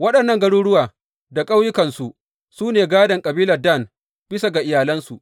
Waɗannan garuruwa da ƙauyukansu su ne gādon kabilar Dan, bisa ga iyalansu.